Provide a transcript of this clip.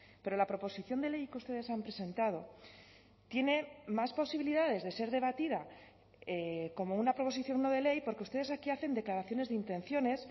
pero la proposición de ley que ustedes han presentado tiene más posibilidades de ser debatida como una proposición no de ley porque ustedes aquí hacen declaraciones de intenciones